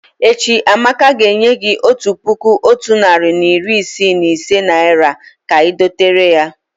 Echi, Amaka ga enye gi Otu puku Otu nari na iri Isii na ise naira ka I doterem